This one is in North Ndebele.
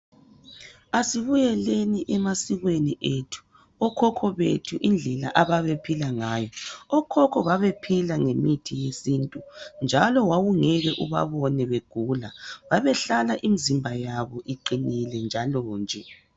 Asibuyeleni emasikweni ethu okhokho bethu indlela ababephila ngayo, okhokho babephila ngemithi yesintu njalo wawungeke ubabone begula babehlala imizimba yabo iqinile njalo nje.